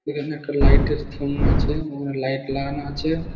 এখানে একটা লাইটের থম আছে লাইট ওখানে লাগানো আছে।